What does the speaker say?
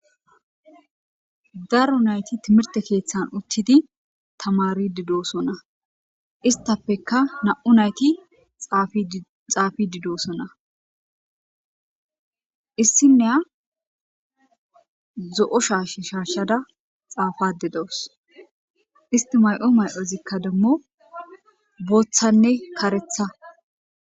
Daru nayti timirte keeththan uttidi tamari didoosonna istafeka na7u nayti xaafi didoosona issinnea zo7o shaash shaashada xaafade dowos isti may7o may7ozikka demmo booththanne karetha.